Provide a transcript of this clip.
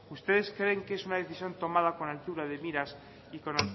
ustedes creen que es una decisión tomada con altura de miras y con